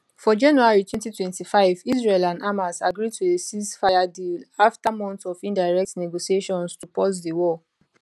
for january 2025 israel and hamas agree to a ceasefire deal afta months of indirect negotiations to pause di war